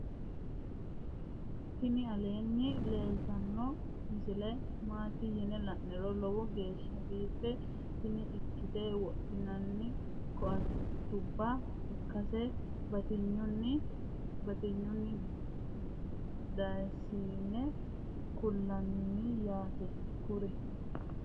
tini aleenni leeltannno misile maati yine la'niro lowo geeshsa biife tini lekkate wodhianni koattubba ikkase batinyisenninna danisenni kulttanno yaaate kuri